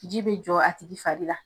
Ji be jɔ a tigi fari la.